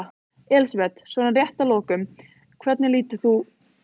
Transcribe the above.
Elísabet: Svona rétt að lokum, hvernig lítur þú á sumarið?